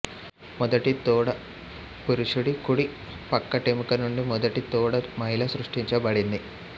మొదటి తోడా పురుషుడి కుడి పక్కటెముక నుండి మొదటి తోడా మహిళ సృష్టించబడింది